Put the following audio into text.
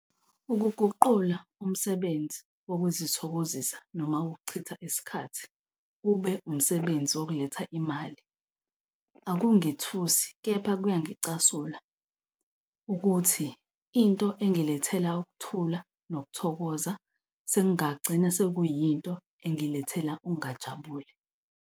Ukuguqula umsebenzi wokuzithokozisa noma ukuchitha isikhathi ube umsebenzi wokuletha imali akungethusi. Kepha kuyangicasula ukuthi into engilethela ukuthula nokuthokoza sekungagcina sekuyinto engilethela ukungajabuli.